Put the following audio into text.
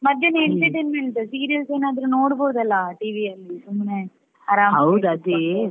ಮಧ್ಯಾಹ್ನ entertainment serials ಏನಾದ್ರೂ ನೋಡ್ಬೋದಲ್ಲ TV ಅಲ್ಲಿ ಸುಮ್ನೆ .